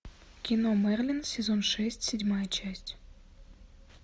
кино мерлин сезон шесть седьмая часть